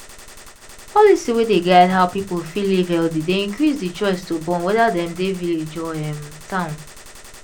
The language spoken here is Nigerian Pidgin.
policy wey dey guide how people fit live healthy dey increase the chioce to born wether them dey village or um town